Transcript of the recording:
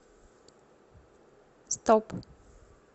стоп